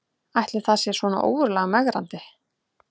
Ætli það sé svona ógurlega megrandi